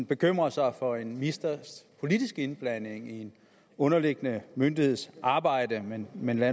bekymrer sig for en ministers politiske indblanding i en underliggende myndigheds arbejde men men lad